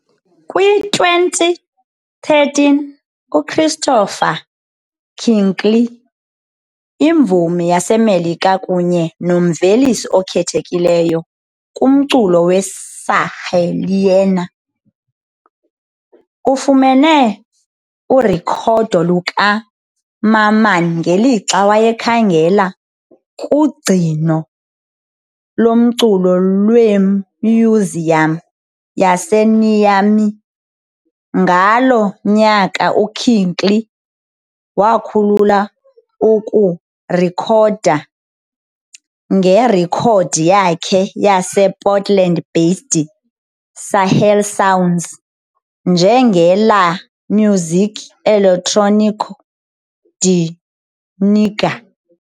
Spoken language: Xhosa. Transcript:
Kwi-2013, uChristopher Kirkley, imvumi yaseMelika kunye nomvelisi okhethekileyo kumculo weSahelian, ufumene urekhodo lukaMamman ngelixa wayekhangela kugcino lomculo lwemyuziyam yaseNiamey. Ngaloo nyaka uKirkley wakhulula ukurekhoda ngerekhodi yakhe yasePortland-based Sahel Sounds, njenge "La Musique Electronique du Niger".